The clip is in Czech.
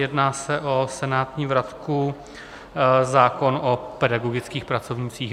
Jedná se o senátní vratku, zákon o pedagogických pracovnících.